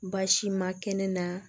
Baasi ma kɛnɛ na